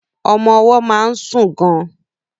Ọmọ ọwọ́ máa ń sùn gan.